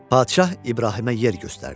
Padşah İbrahimə yer göstərdi.